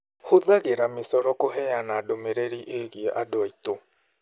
Hũthagĩra micoro kũheana ndũmĩrĩri ĩĩgiĩ andũ aitũ.